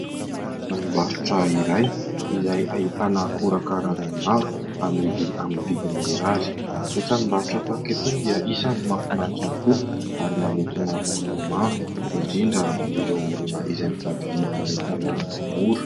Tranombarotra iray izay ahitana akora karazany maro amidy amin'ny vidiny mirary. Ny tranombarotra tahaka itony dia isan'ny mahafinaritra tokoa ary manintona olona maro indrindra ireo olona izay mitady vidin'entana mora.